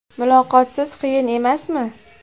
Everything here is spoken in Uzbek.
Muloqotsiz qiyin emasmi?